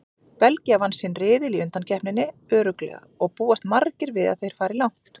Belgía vann sinn riðil í undankeppninni örugglega og búast margir við að þeir fari langt.